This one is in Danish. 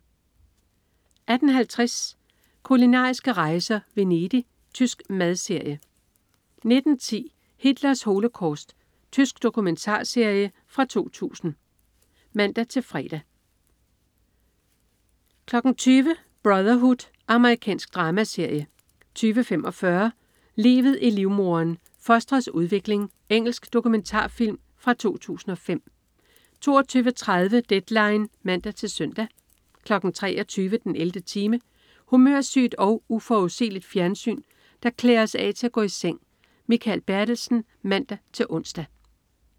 18.50 Kulinariske rejser: Venedig. Tysk madserie 19.10 Hitlers holocaust. Tysk dokumentarserie fra 2000 (man-fre) 20.00 Brotherhood. Amerikansk dramaserie 20.45 Livet i livmoderen. Fostrets udvikling. Engelsk dokumentarfilm fra 2005 22.30 Deadline (man-søn) 23.00 den 11. time. Humørsygt og uforudsigeligt fjernsyn, der klæder os af til at gå i seng. Mikael Bertelsen (man-ons)